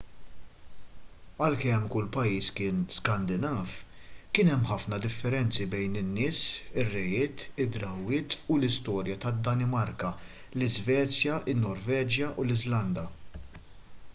għalkemm kull pajjiż kien skandinav' kien hemm ħafna differenzi bejn in-nies ir-rejiet id-drawwiet u l-istorja tad-danimarka l-iżvezja in-norveġja u l-iżlanda